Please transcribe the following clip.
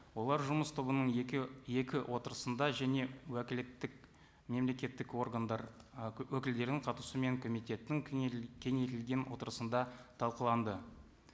олар жұмыс тобының екі отырысында және уәкілеттік мемлелекеттік органдар і өкілдерінің қатысуымен комитеттің кеңейтілген отырысында талқыланды